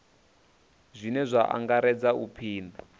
zwine zwa angaredza u pima